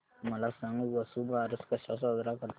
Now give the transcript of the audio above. मला सांग वसुबारस कसा साजरा करतात